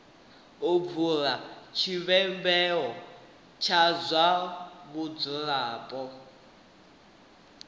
do bula tshivhumbeo tsha vhadzulapo